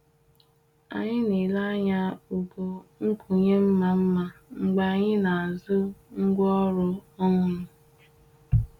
Anyị na-ele anya ogo nkwụnye mma mma mgbe anyị na-azụ ngwaọrụ ọhụrụ.